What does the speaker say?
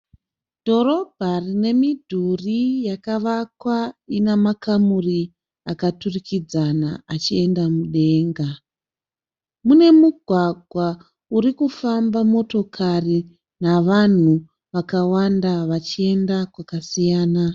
Dhorobha rine midhuri yakavakwa ina makamuri akaturikidzana achienda mudenga. Mune mugwagwa urikufamba motokari navanhu vakawanda vachienda kwakasiyana.